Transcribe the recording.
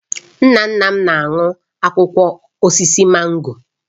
Nna nna m na-aṅụ akwụkwọ osisi mango